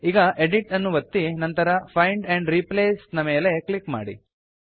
ಈಗ ಎಡಿಟ್ ಅನ್ನು ಒತ್ತಿ ನಂತರ ಫೈಂಡ್ ಆಂಡ್ ರಿಪ್ಲೇಸ್ ನ ಮೇಲೆ ಕ್ಲಿಕ್ ಮಾಡಿ